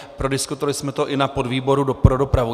Prodiskutovali jsme to i na podvýboru pro dopravu.